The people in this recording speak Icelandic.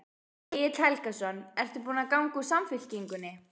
Egil Helgason: Ertu búin að ganga úr Samfylkingunni?